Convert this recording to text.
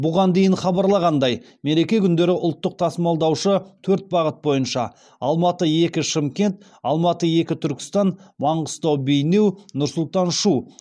бұған дейін хабарланғандай мереке күндері ұлттық тасымалдаушы төрт бағыт бойынша алматы екі шымкент алматы екі түркістан маңғыстау бейнеу нұр сұлтан шу